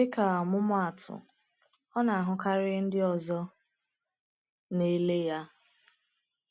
Dịka ọmụmaatụ, ọ na-ahụkarị ndị ọzọ na-ele ya.